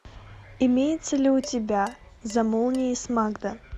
имеется ли у тебя за молнией с магда